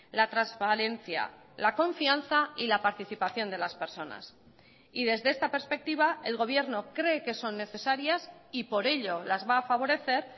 la transparencia la confianza y la participación de las personas y desde esta perspectiva el gobierno cree que son necesarias y por ello las va a favorecer